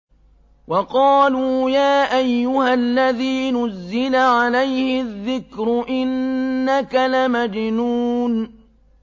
وَقَالُوا يَا أَيُّهَا الَّذِي نُزِّلَ عَلَيْهِ الذِّكْرُ إِنَّكَ لَمَجْنُونٌ